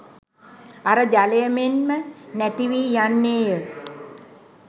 අර ජලය මෙන්ම නැතිවී යන්නේය.